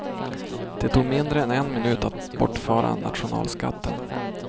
Det tog mindre än en minut att bortföra nationalskatten.